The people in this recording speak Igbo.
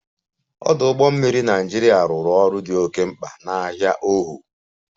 Ọdụ ụgbọ mmiri Naịjirịa rụrụ ọrụ dị oke mkpa na ahia ohu